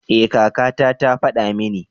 Ee kaka ta ta faɗa mini.